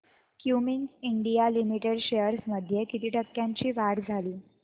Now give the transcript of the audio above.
Cummins India limited shares मध्ये किती टक्क्यांची वाढ झाली